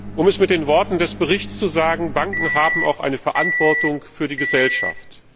Um es mit den Worten des Berichts zu sagen Banken haben auch eine Verantwortung für die Gesellschaft.